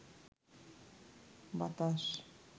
বাতাস